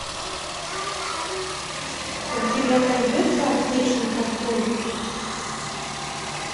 у тебя найдется аптечный ковбой